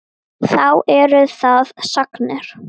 Þá eru það sagnir.